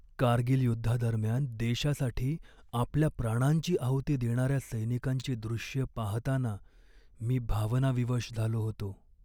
कारगिल युद्धादरम्यान देशासाठी आपल्या प्राणांची आहुती देणाऱ्या सैनिकांची दृश्ये पाहताना मी भावनाविवश झालो होतो.